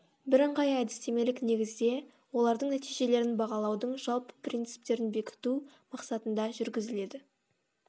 бірыңғай әдістемелік негізде олардың нәтижелерін бағалаудың жалпы принциптерін бекіту мақсатында жүргізіледі